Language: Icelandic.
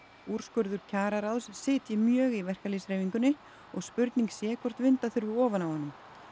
úrskurður kjararáðs sitji mjög í verkalýðshreyfingunni og spurning sé hvort vinda þurfi ofan af honum